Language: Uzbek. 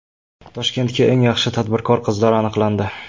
Toshkentda eng yaxshi tadbirkor qizlar aniqlandi.